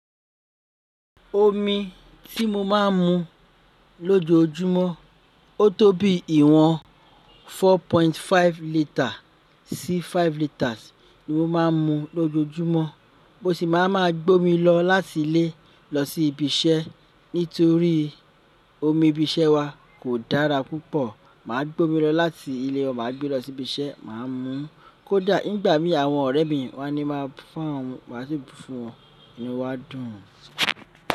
Omi tí mo máa ń mu lójoójúmọ́, ó tó bí ìwọ̀n 4.5 litre sí 5 litres ni mo máa ń mu lójoójúmọ́. Mo sì máa ma gbé omi lọ láti ilé lọ sí ibi iṣẹ́ nítorí omi ibi iṣẹ́ wa kò dára púpọ̀. Máa gbé omi lọ láti ilé wa, máa gbé lọ sí ibi iṣẹ́, máa mú kó dá. Nígbà mí àwọn ọ̀rẹ́ mi wá ni máa bu fún awọn mu, má sì bu fún wọn inuwan a dùn.